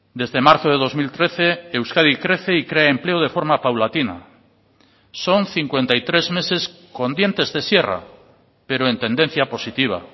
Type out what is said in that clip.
desde marzo de dos mil trece euskadi crece y crea empleo de forma paulatina son cincuenta y tres meses con dientes de sierra pero en tendencia positiva